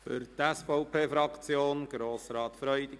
Für die SVP-Fraktion spricht Grossrat Freudiger.